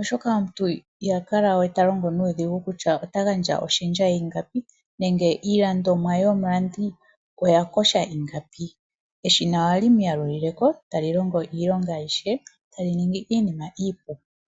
oshoka omuntu ihakala we ta longo nuudhigu kutya ota gandja oshendja yiingapi nenge iilandomwa yomulandi oya kosha ingapi eshina ohali muyalulileko tali longo iilonga ayishe tali ningi iinima iipu.